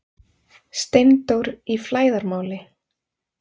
STEINDÓR Í FLÆÐARMÁLI